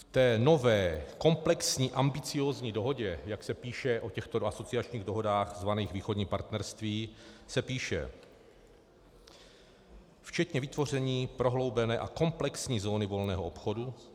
V té nové komplexní ambiciózní dohodě, jak se píše o těchto asociačních dohodách zvaných Východní partnerství, se píše: Včetně vytvoření prohloubené a komplexní zóny volného obchodu.